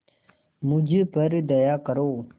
मुझ पर दया करो